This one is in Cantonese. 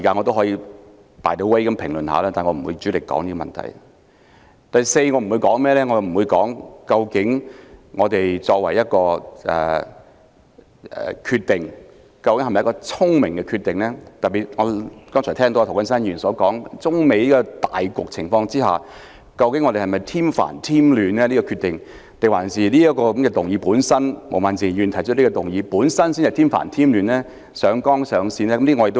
第四，我不會談論究竟特區政府作出有關決定是否明智？特別是我剛才聽到涂謹申議員說，在中美貿易糾紛的大局下，究竟這個決定會否添煩添亂？還是毛孟靜議員提出的這項議案才添煩添亂、上綱上線？